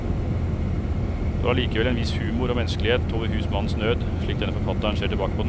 Det var allikevel en viss humor og menneskelighet over husmannens nød, slik denne forfatteren ser tilbake på den.